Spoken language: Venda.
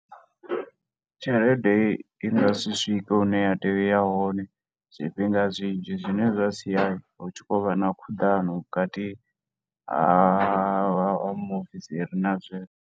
Tshelede inga si swike hu ne ya tea u ya hone zwifhinga zwinzhi, zwi ne zwa siya hu tshi khou vha na khuḓano vhukati ha muofisiri na zwino.